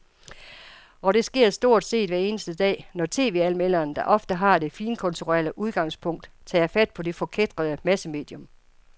Og det sker stort set hver eneste dag, når tv-anmelderne, der ofte har det finkulturelle udgangspunkt, tager fat på det forkætrede massemedium.